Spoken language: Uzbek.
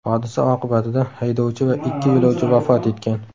Hodisa oqibatida haydovchi va ikki yo‘lovchi vafot etgan .